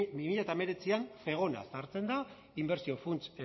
bi mila hemeretzian zegona sartzen da inbertsio funts